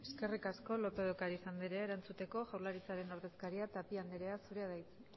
eskerrik asko lópez de ocariz andrea erantzuteko jaurlaritzaren ordezkaria tapia andrea zurea da hitza